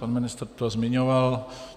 Pan ministr to zmiňoval.